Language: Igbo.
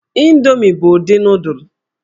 Indomi bụ ụdị nụụdụl.